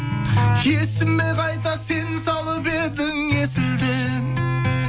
есіме қайта сен салып едің есілден